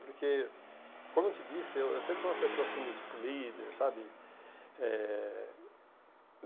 Porque, como eu te disse, eu eu sempre fui uma pessoa, assim, do tipo líder, sabe? Eh